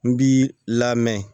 N b'i lamɛn